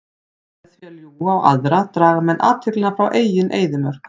Með því að ljúga á aðra draga menn athyglina frá eigin eyðimörk.